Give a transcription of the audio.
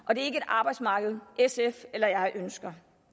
et arbejdsmarked sf eller jeg ønsker